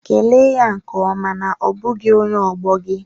Kelee ya nke ọma na ọ bụghị onye ọgbọ gị